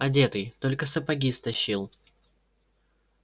одетый только сапоги стащил